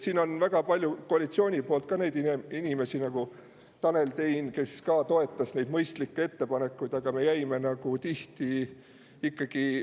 Siin on koalitsioonis ka väga palju inimesi, nagu Tanel Tein, kes toetasid neid mõistlikke ettepanekuid, aga me jäime ikkagi …